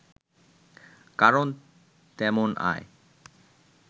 কারণ তেমন আয়